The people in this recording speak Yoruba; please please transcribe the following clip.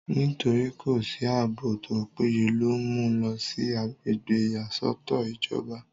nítorí kò sí àbò tó péye ló mú u lọ sí agbègbè ìyàsọ́tọ̀ ìjọba